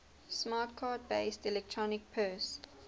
smart card based electronic purse